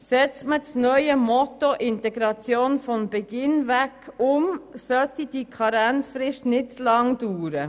Setzt man das neue Motto der Integration von Beginn weg um, sollte diese Karenzfrist nicht zu lange dauern.